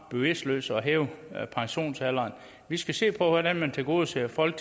bevidstløst at hæve pensionsalderen vi skal se på hvordan man tilgodeser folk